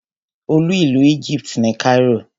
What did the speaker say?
Olú ìlú Egypt ni Cairo.